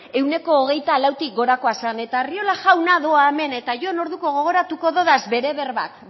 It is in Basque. ehuneko hogeita lautik gorakoa zen eta arriola jauna doa hemen eta orduko gogoratuko dudaz bere berbak